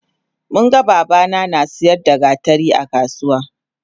Munga babana nasiyar da gatari akasuwa